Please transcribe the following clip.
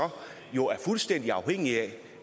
fuldstændig afhængig af